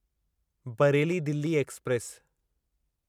Bareilly Delhi express